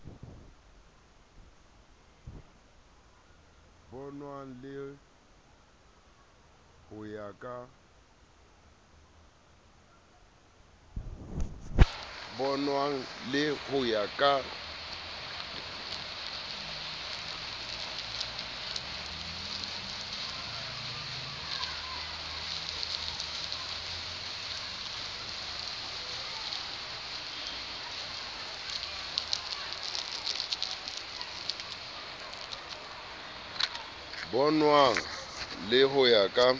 bonwang le ho ya ka